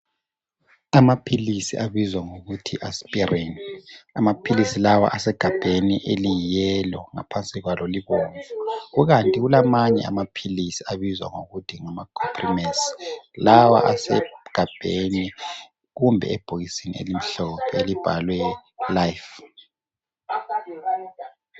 Amaphilisi abizwa ngokuthi Asprin amaphilisi lawa asegabheni eliyi yellow ngaphansi kwalo libomvu kukanti kulamanye amaphilisi abizwa ngokuthi ngama Comprimes lawa asegabheni kumbe ebhokisini elimhlophe elibhalwe life.